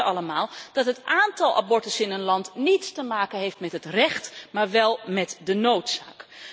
En we weten allemaal dat het aantal abortussen in een land niets te maken heeft met het recht, maar wel met de noodzaak.